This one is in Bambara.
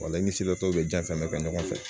ni sela tɔw bɛ jan fɛn bɛɛ kɛ ɲɔgɔn fɛ